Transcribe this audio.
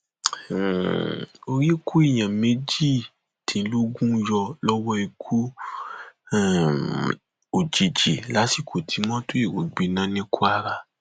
tinúbù fi orúkọ masari ránṣẹ um gẹgẹ bíi igbákejì rẹ